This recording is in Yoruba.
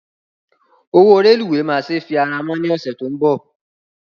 Owó rélùweè máa se fi ara mọ́ ní ọ̀sẹ̀ tó ń bọ̀